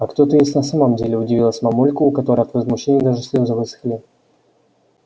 а кто ты есть на самом деле удивилась мамулька у которой от возмущения даже слезы высохли